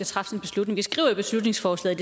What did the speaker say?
træffe den beslutning vi skriver i beslutningsforslaget